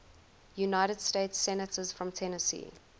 united states senators from tennessee